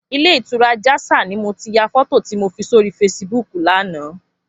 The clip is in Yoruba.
Ilé itúrá Jasal ni mó ti yá fòtó ti mó fi sóri fésibúk làná